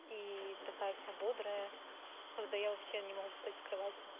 и такая вся бодрая когда я вообще не могу встать с кровати